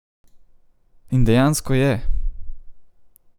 In dejansko je.